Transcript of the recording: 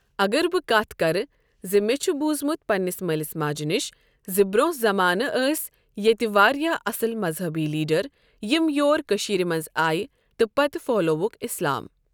اگر بہٕ کتھ کرٕ کہِ مےٚ چھُ بوٗزمُت پنٛنس مٲلِس ماجہِ نش زِ برٛۄنٛہہ زمانہٕ ٲسۍ ییٚتہِ واریاہ اَصٕل مَذہبی لیٖڈَر یِم یور کٔشیٖرِ منٛز آیہ تہٕ پتہٕ پھٔہلووُکھ اِسلام۔